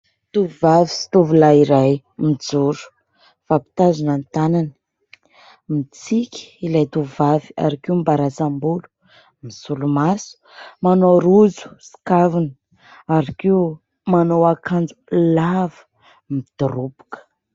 Tovovavy sy tovolahy iray mijoro, mifampitazona ny tanany, mitsiky ilay tovovavy ary koa mibarantsam-bolo; misolomaso, manao rojo sy kavina ary koa manao akanjo lava midoroboka.